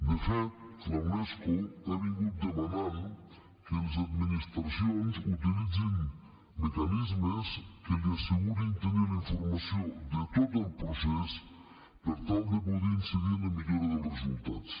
de fet la unesco ha demanat que les administracions utilitzin mecanismes que li assegurin tenir la informació de tot el procés per tal de poder incidir en la millora dels resultats